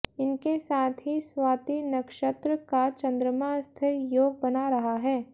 इनके साथ ही स्वाती नक्षत्र का चंद्रमा स्थिर योग बना रहा है